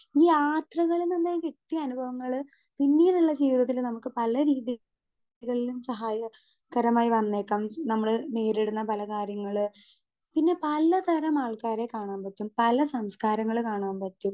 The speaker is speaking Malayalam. സ്പീക്കർ 2 ഈ യാത്രകളിൽ നിന്നും കിട്ട്യ അനുഭവങ്ങള് പിന്നീട്ള്ള ജീവിതത്തില് നമുക്ക് പല രീതികളിലും സഹായകരമായി വന്നേക്കാം നമ്മള് നേരിടുന്ന പല കാര്യങ്ങള് പിന്നെ പല തരം ആൾക്കാരെ കാണാൻ പറ്റും പല സംസ്കാരങ്ങള് കാണാൻ പറ്റും.